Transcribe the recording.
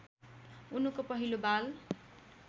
उनको पहिलो बाल